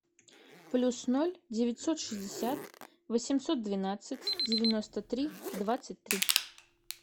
плюс ноль девятьсот шестьдесят восемьсот двенадцать девяносто три двадцать три